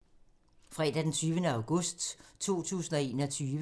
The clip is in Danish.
Fredag d. 20. august 2021